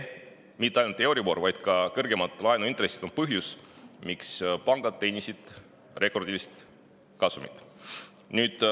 Mitte ainult euribor, vaid ka kõrgemad laenuintressid on põhjus, miks pangad teenisid rekordilise kasumi.